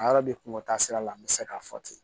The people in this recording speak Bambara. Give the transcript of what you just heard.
A yɔrɔ de kungo taa sira la n bɛ se k'a fɔ ten